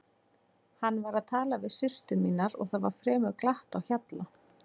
Hann var að tala við systur mínar og það var fremur glatt á hjalla.